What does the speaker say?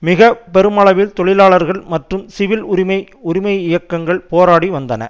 மிக பெருமளவில் தொழிலாளர்கள் மற்றும் சிவில் உரிமை உரிமை இயக்கங்கள் போராடி வந்தன